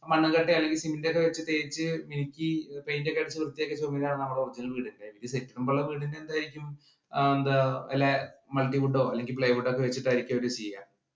മണ്ണും കട്ടയും അല്ലെങ്കിൽ cement ഒക്കെ വെച്ച് തേച്ച് മിനുക്കി paint ഒക്കെ അടിച്ചു നമ്മുടെ original വീട്. എന്തായിരിക്കും ആ എന്താ ഇല്ലേ multiwood ഓ, plywood ഓ ഒക്കെ വെച്ചിട്ടായിരിക്കും അവർ ചെയ്യുക.